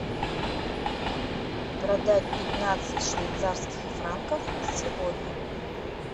продать пятнадцать швейцарских франков сегодня